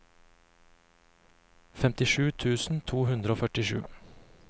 femtisju tusen to hundre og førtisju